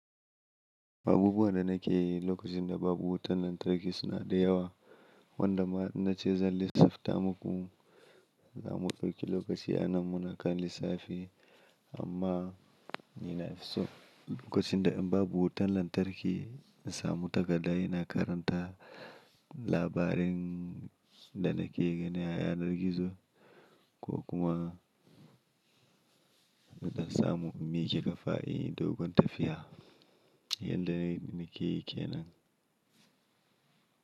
Abubuwan da nake yi lokacin da babu wutan lantarki suna da yawa, wanda ma in na ce zan lissafta muku. Za mu ɗauki lokaci a nan muna kan lissafi amma ni na fi so lokacin da in babu wutan lantarki in samu takaddai ina karanta labarin da nake gani a yanar gizo ko kuma in dan samu in mike kafa inyi dogon tafiya. Yan da nake yi kenan.